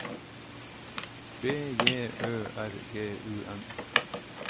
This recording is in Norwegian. B J Ø R G U N